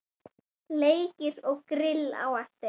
Leikir og grill á eftir.